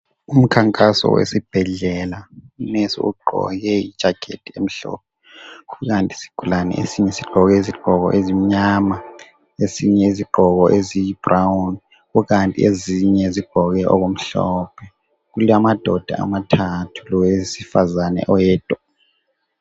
Umkhankaso wesibhedlela u nurse ugqoke i jacket emhlophe kukanti isigulane esinye sigqoke izigqoko ezimnyama esinye izigqoko eziyi brown kukanti ezinye zigqoke okumhlophe kulamadoda amathathu lowesifazana oyedwa